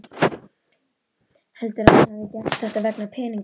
Heldur hann að ég hafi gert þetta vegna peninganna?